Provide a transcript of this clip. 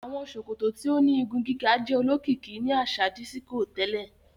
Awọn sòkòtò tíó ní ìgún-gigà jẹ òlókìkì ní aṣa dísíkò tẹlẹ